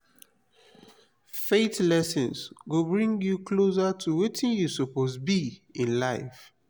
faith lessons go bring yu closer to wetin yu soppose bi in life.